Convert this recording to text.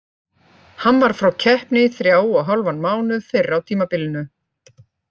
Hann var frá keppni í þrjá og hálfan mánuð fyrr á tímabilinu.